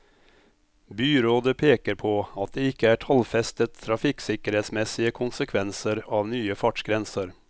Byrådet peker på at det ikke er tallfestet trafikksikkerhetsmessige konsekvenser av nye fartsgrenser.